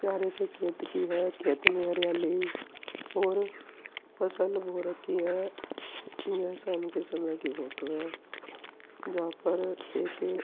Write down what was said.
प्यारे से खेत कि जगह के खेत में हरियाली और फसल बो रखी है। शाम के समय की फोटो है। जहां पर एक --